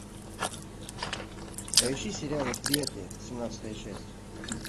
поищи сериал восприятие семнадцатая часть